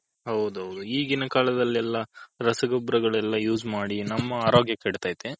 ಹೌದ್ ಹೌದು ಈಗಿನ ಕಾಲದಲ್ಲಿ ಎಲ್ಲಾ ರಸ ಗೊಬ್ಬರಗಲ್ಲೇಲ Use ಮಾಡಿ ನಮ್ಮ ಅರೋಗ್ಯ ಕೆಡ್ತೈತೆ.